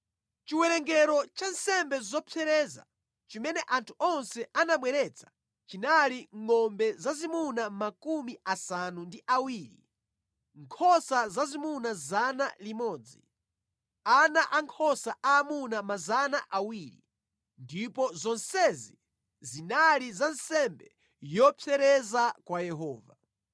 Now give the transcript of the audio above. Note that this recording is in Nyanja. Chiwerengero cha nsembe zopsereza chimene anthu onse anabweretsa chinali ngʼombe zazimuna makumi asanu ndi awiri, nkhosa zazimuna 100, ana ankhosa aamuna 200 ndipo zonsezi zinali za nsembe yopsereza kwa Yehova.